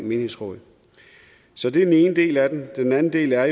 menighedsråd så det er den ene del af det den anden del er